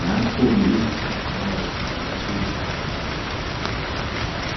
ngakho ke izihlahla bayaziqakathekisa kakhulu.